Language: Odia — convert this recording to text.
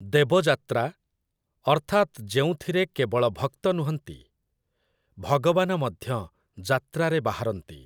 ଦେବଯାତ୍ରା, ଅର୍ଥାତ୍ ଯେଉଁଥିରେ କେବଳ ଭକ୍ତ ନୁହଁନ୍ତି, ଭଗବାନ ମଧ୍ୟ ଯାତ୍ରାରେ ବାହାରନ୍ତି ।